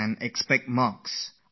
How many marks are you likely to score